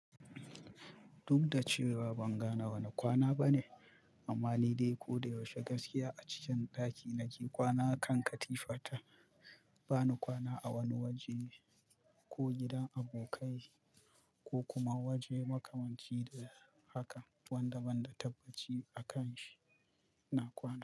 Duk da cewa ban gane wane kwana bane, amma ni dai ko da yaushe gaskiya a cikin ɗaki nake kwana kan katifata. Ba ni kwana a wani waje ko gidan abokai ko kuma waje makamanci da haka wanda banda tabbaci a kan shi na kwana.